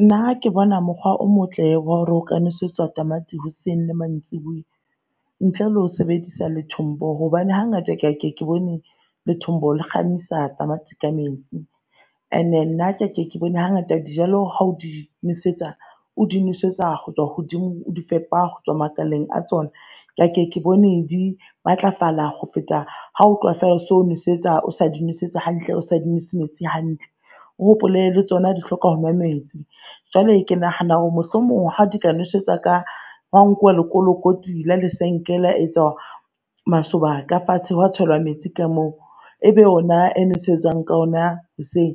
Nna ke bona mokgwa o motle wa hore o ka nosetswa tamati hoseng le mantsiboya ntle lo sebedisa lethombo. Hobane hangata ke a ke ke bone lethombo le kgamisa tamati ka metsi. Ene nna ke a ke ke bone ha ngata jalo ha o di nosetsa, o di nosetsa ho tswa hodimo, o di fepa hotswa makaleng a tsona, ke a ke ke bone di matlafala ho feta ha o tloha feela o so nosetsa o sa di nosetsa hantle o sa di nwese metse hantle. O hopole le tsona di hloka ho nwa metsi. Jwale ke nahana hore mohlomong ha di ka nwesetsa ka ho a nkuwa lekolokoti la lesenke a etswa masoba ka fatshe ho a tselwa metsi ka moo. Ebe ona e nesetswang ka ona hoseng.